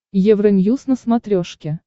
евроньюз на смотрешке